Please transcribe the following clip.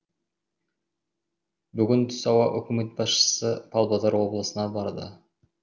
бүгін түс ауа үкімет басшысы павлодар облысына барды